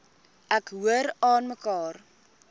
ek hoor aanmekaar